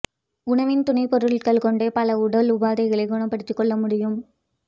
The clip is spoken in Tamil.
உணவின் துணைப் பொருட்களைக் கொண்டே பல உடல் உபாதைகளைக் குணப்படுத்திக் கொள்ள முடியும்